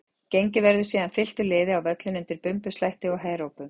Gengið verður síðan fylktu liði á völlinn undir bumbuslætti og herópum.